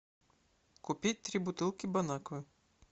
купить три бутылки бон аква